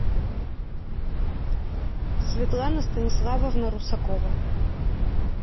светлана станиславовна русакова